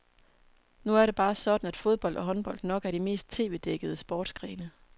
Nu er det bare sådan, at fodbold og håndbold nok er de mest tvdækkede sportsgrene.